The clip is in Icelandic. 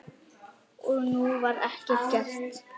Og nú var ekkert gert.